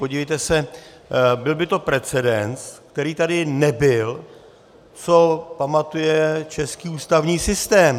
Podívejte se, byl by to precedens, který tady nebyl, co pamatuje český ústavní systém.